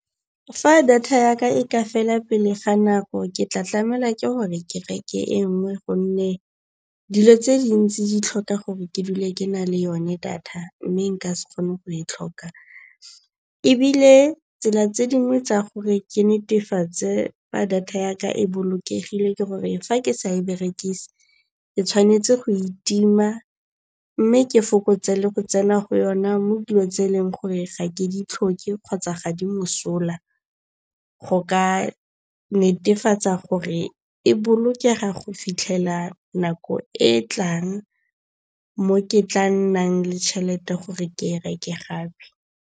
Fa data yaka e ka fela pele ga nako ke tla tlamela ke gore ke reke e nngwe gonne dilo tse dintsi di tlhoka gore ke dule ke na le yone data. Mme nka se kgone go e tlhoka. Ebile tsela tse dingwe tsa gore ke netefatse fa data ya ka e bolokegile ke gore fa ke sa e berekise ke tshwanetse go itima mme ke fokotse le go tsena go yona mo dilo tse e leng gore ga ke di tlhoke kgotsa ga di mosola. Go ka netefatsa gore e bolokega go fitlhela nako e e tlang mo ke tla nnang le tšhelete gore ke e reke gape.